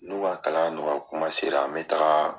N'u ka kalan nɔgɔya kuma sera n bɛ taaga